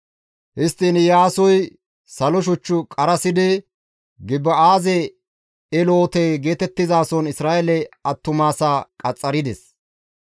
Histtiin Iyaasoy salo shuch qarasidi Gibi7aaze Eloote geetettizason Isra7eele attumasaa qaxxarides.